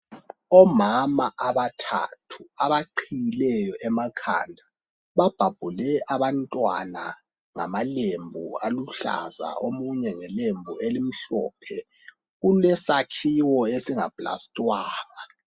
Omama abathathu abaqiyileyo emakhanda babhabhule abantwana ngamalembu aluhlaza omunye ngelembu elimhlophe, kulesakhiwo esingaplastwanga